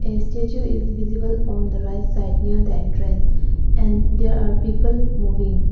a statue is visible on the right side near the entrance and there are people moving.